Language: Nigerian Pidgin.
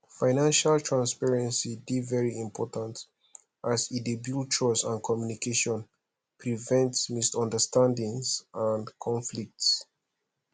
financial transparency dey very important as e dey build trust and communication prevent misunderstandings and conflicts